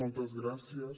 moltes gràcies